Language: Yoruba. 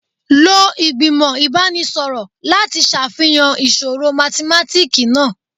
Lo igbimọ ibanisọrọ lati ṣafihan iṣoro mathematiki naa